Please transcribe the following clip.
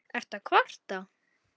Ertu að kvarta?